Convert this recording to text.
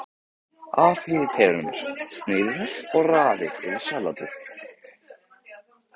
Afhýðið perurnar, sneiðið þær og raðið yfir salatið.